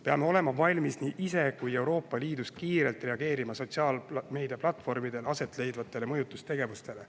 Peame olema valmis nii ise kui ka Euroopa Liidus kiirelt reageerima sotsiaalmeediaplatvormidel asetleidvale mõjutustegevusele.